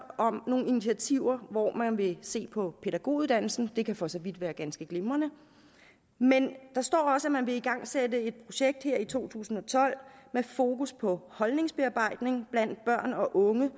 om nogle initiativer hvor man vil se på pædagoguddannelsen og det kan for så vidt være ganske glimrende men der står også at man vil igangsætte et projekt her i to tusind og tolv med fokus på holdningsbearbejdning blandt børn og unge